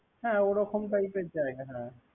হ্যা ওরকম টাইপের জায়গা না।